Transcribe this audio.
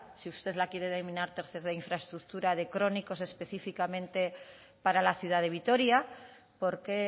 si usted la quiere denominar tercera infraestructura de crónicos específicamente para la ciudad de vitoria porque